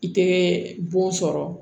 I tɛ bon sɔrɔ